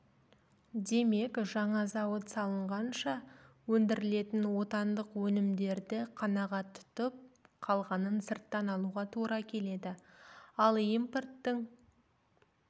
демек жаңа зауыт салынғанша өндірілетін отандық өнімдерді қанағат тұтып қалғанын сырттан алуға тура келеді ал импорттың